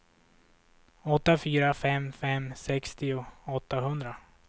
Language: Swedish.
åtta fyra fem fem sextio åttahundra